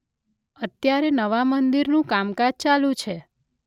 અત્યારે નવા મંદિરનું કામકાજ ચાલુ છે.